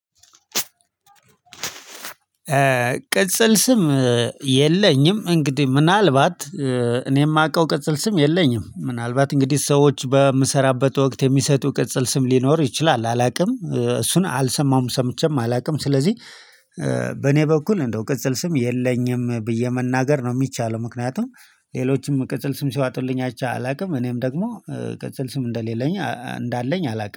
ቅጽል ስም የለኝም። እንግዲህ ምናልባት እኔ የማውቀው ቅጽል ስም የለኝም ምናልባት እንግዲህ ሰዎች በምሰራበት ወቅት የሚሰጡ ቅጽል ስም ሊኖር ይችላል አላውቅም እሱን አልሰማዉም ሰምቼም አላውቅም። ስለዚህ በኔ በኩል እንደው ቅጽል ስም የለኝም ብዬ መናገር ነው የሚቻለው። ምክንያቱም ሌሎችም ቅጽል ስም ሲያወጡልኝ አይቼ አላውቅም። እኔም ደግሞ ቅጽል ስም እንደሌለኝ እንዳለኝ አላውቅም